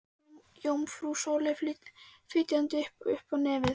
Jómfrú Sóley fitjaði upp á nefið.